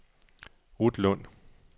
Ruth Lund